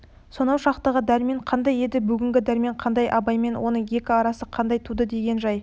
сонау шақтағы дәрмен қандай еді бүгінгі дәрмен қандай абаймен оның екі арасы қандай туды деген жай